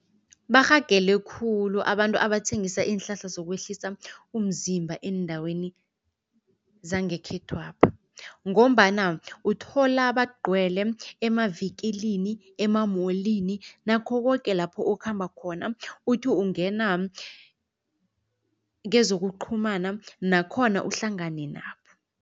Barhagele khulu abantu abathengisa iinhlahla zokwehlisa umzimba eendaweni zangekhethwapha ngombana uthola bagcwele emavikilini, emamolini nakho koke lapho okhamba khona, uthi ukungena kezokuqhumana nakhona uhlangane nabo.